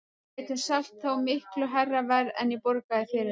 Við getum selt þá fyrir miklu hærra verð en ég borgaði fyrir þá.